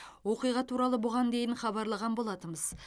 оқиға туралы бұған дейін хабарлаған болатынбыз